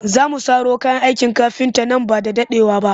Za mu saro kayan aikin kafinta nan ba da daɗewa ba